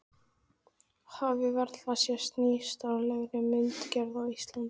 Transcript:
Hafi varla sést nýstárlegri myndgerð á Íslandi.